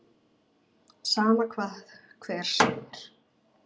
Sama hvað hver segir.